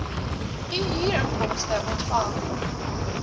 u huurinkomste ontvang